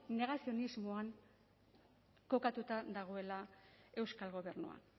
negazionismoan kokatuta dagoela euskal gobernua